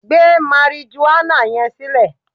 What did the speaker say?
Gbé marijuana yẹn sílẹ̀!